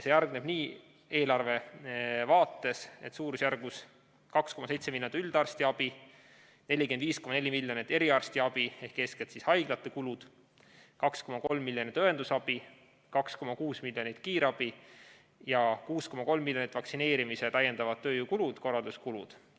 See hargneb eelarve vaates nii: suurusjärgus 2,7 miljonit on üldarstiabile, 45,4 miljonit eriarstiabile ehk need on eeskätt haiglate kulud, 2,3 miljonit õendusabile, 2,6 miljonit kiirabile ja 6,3 miljonit on vaktsineerimise täiendavad tööjõu‑ ja korralduskulud.